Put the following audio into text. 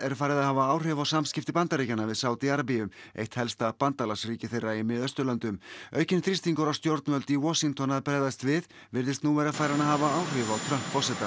er farið að hafa áhrif á samskipti Bandaríkjanna við Sádí Arabíu eitt helsta bandalagsríki þeirra í Mið Austurlöndum aukinn þrýstingur á stjórnvöld í Washington að bregðast við virðist nú vera farinn að hafa áhrif á Trump forseta